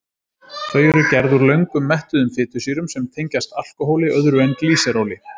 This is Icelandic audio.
Þau eru gerð úr löngum mettuðum fitusýrum sem tengjast alkóhóli öðru en glýseróli.